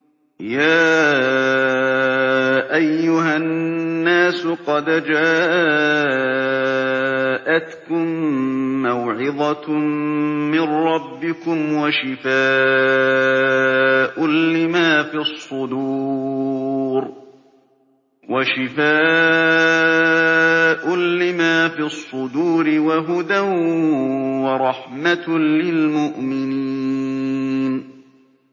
يَا أَيُّهَا النَّاسُ قَدْ جَاءَتْكُم مَّوْعِظَةٌ مِّن رَّبِّكُمْ وَشِفَاءٌ لِّمَا فِي الصُّدُورِ وَهُدًى وَرَحْمَةٌ لِّلْمُؤْمِنِينَ